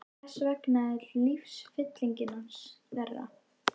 Þess vegna er lífsfylling hans meiri.